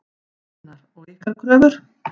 Gunnar: Og ykkar kröfur?